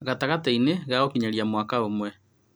Gatagatĩ inĩ ga gũkinyia mwaka ũmwe